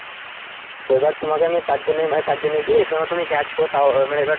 তো এবার তোমাকে আমি তারজন্য তারজন্য কি তুমি গেছো তাও মানে এবার।